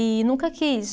E nunca quis.